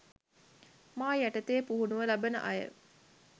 මා යටතේ පුහුණුව ලබන අය